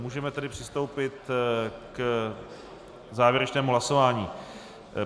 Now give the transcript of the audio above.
Můžeme tedy přistoupit k závěrečnému hlasování.